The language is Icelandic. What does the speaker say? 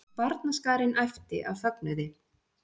Barnaskarinn æpti af fögnuði.